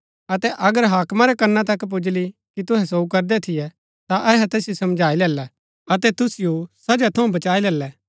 अतै अगर हाकमा रै कना तक पुजली कि तुहै सोऊ करदै थियै ता अहै तैसिओ समझाई लैलै अतै तुसिओ सजा थऊँ बचाई लैलै